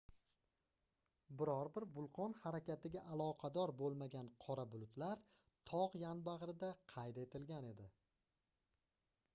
biror bir vulqon harakatiga aloqador boʻlmagan qora bulutlar togʻ yonbagʻrida qayd etilgan edi